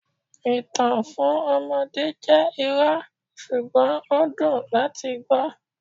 Ìtàn fún ọmọdé jẹ́ irọ́, ṣùgbọ́n ó dùn láti gbọ́.